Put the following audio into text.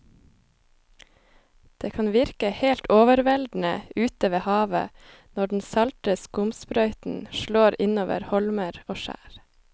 Det kan virke helt overveldende ute ved havet når den salte skumsprøyten slår innover holmer og skjær.